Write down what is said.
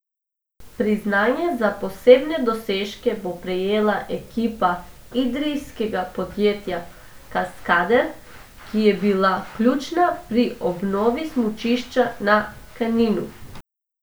Priznanje za posebne dosežke bo prejela ekipa idrijskega podjetja Kaskader, ki je bila ključna pri obnovi smučišča na Kaninu.